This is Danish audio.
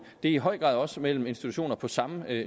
det er i høj grad også mellem institutioner på samme